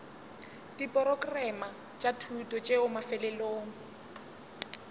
diporokerama tša thuto tšeo mafelelong